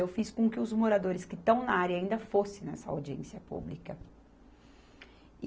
Eu fiz com que os moradores que estão na área ainda fossem nessa audiência pública. E